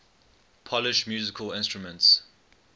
polish musical instruments